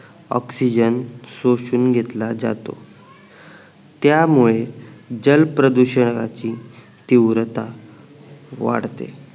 oxygen शोषून घेतला जातो त्या मुळे जल प्रदूषणाची तीव्रता वाढते